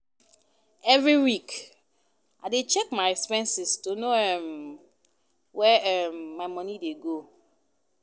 Every week, I dey check my expenses to know um where um my money dey go.